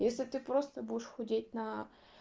если ты просто будешь худеть на